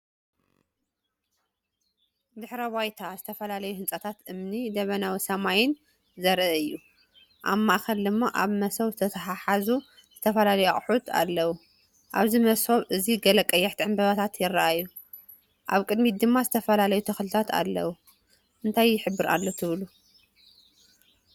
ድሕረ ባይታ ዝተፈላለዩ ህንጻታት እምኒን ደበናዊ ሰማይን ዘርኢ እዩ። ኣብ ማእከል ድማ ኣብ መሶብ ዝተታሕዙ ዝተፈላለዩ ኣቑሑት ኣለዉ። ኣብዚ መሶብ እዚ ገለ ቀያሕቲ ዕምባባታት ይረኣዩ። ኣብ ቅድሚት ድማ ዝተፈላለዩ ተኽልታት ኣለዉ። እንታይ ይሕብር ኣሎ ትብሉ?